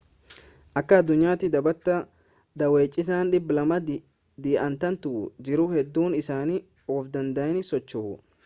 akka addunyaatti dhaabbata daawwachiisaa 200 dhi'atantu jiru hedduun isaanii of danda'anii socho'u